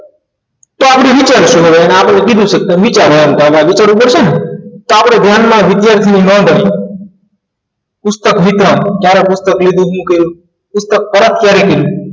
તો આપણે વિચારશું હવે આપણે તમને કીધું છે વિચારવાનું વિચારવું પડશે ને તો આપણી ધ્યાનમાં વિદ્યાર્થીઓ નોંધણી પુસ્તક વિતરણ ક્યારે પુસ્તક લીધું શું કર્યું? પુસ્તક પરત ક્યારે કર્યું